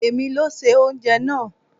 È mi ló se oúnjẹ náà.